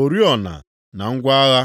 oriọna na ngwa agha.